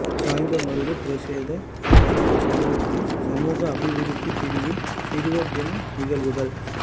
சாய்ந்தமருது பிரசேத செயலக சமுர்த்தி சமூக அபிவிருத்தி பிரிவின் சிறுவர் தின நிகழ்வுகள்